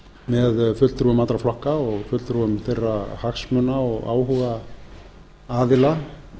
með fulltrúum allra flokka og fulltrúum þeirra hagsmuna og áhugaaðila